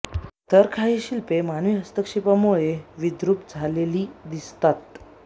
तर काही शिल्पे मानवी हस्तक्षेपामुळे विद्रुप झालेली दिसतात